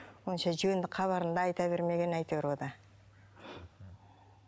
онша жөнді хабарын да айта бермеген әйтеуір ол да